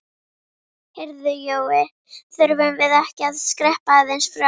Heyrðu Jói. þurfum við ekki að skreppa aðeins frá?